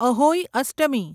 Ahoi Ashtami